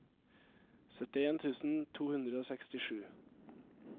syttien tusen to hundre og sekstisju